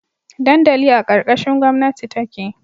Dandali a karkashin gomnati take